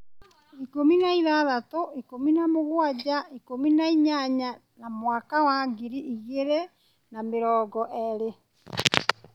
ikũmi na ithathatũ, ikũmi na mũgwanja, ikũmi na inyanya na mwaka wa ngiri igĩrĩ na mĩrongo eerĩ.